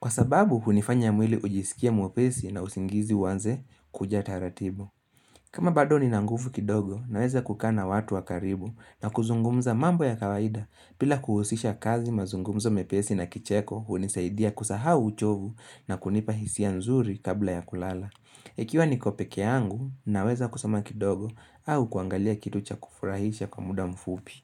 Kwa sababu, hunifanya mwili ujisikie mwepesi na usingizi uanze kuja taratibu. Kama bado ni nangufu kidogo, naweza kukaa na watu wakaribu na kuzungumza mambo ya kawaida bila kuhusisha kazi mazungumzo mepesi na kicheko, hunisaidia kusaha uchovu na kunipa hisia nzuri kabla ya kulala. Ikiwa niko peke angu, naweza kusoma kidogo au kuangalia kitu cha kufurahisha kwa muda mfupi.